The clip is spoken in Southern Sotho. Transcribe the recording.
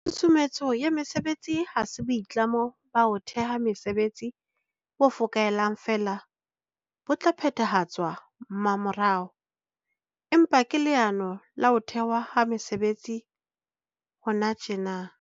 Tshusumetso ya mesebetsi ha se boitlamo ba ho theha mesebetsi bo fokaelang feela bo tla phethahatswa mmamorao, empa ke leano la ho thehwa ha mesebetsi hona tjena.